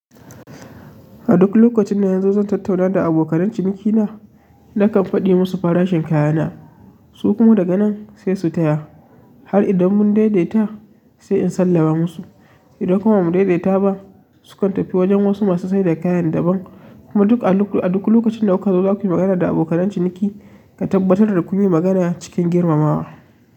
A duk lokacin da nazo zan tattauna da abokan cinikina, nakan faɗi musu farashin kayana, su kuma daga nan sai su taya. Har idan mun daidaita sai in sallaba musu. Idan kuma ba mu daidaita ba, su ka tafi wajen wasu masu saida kayan daban. Kuma a duk lokacin da kuka zo zakuyi magana da abokan ciniki, ku tabbatar da ku yi magana cikin girmamawa.